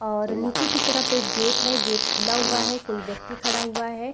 और नीचे की तरफ एक गेट है गेट खुला हुआ है कोई व्यक्ति खड़ा हुआ है।